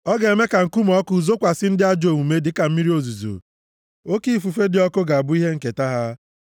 Ọ ga-eme ka nkume ọkụ zokwasị ndị ajọ omume dịka mmiri ozuzo; oke ifufe dị ọkụ ga-abụ ihe nketa ha.